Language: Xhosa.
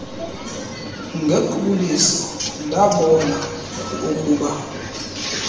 ngequbuliso ndabona oukuba